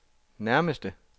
nærmeste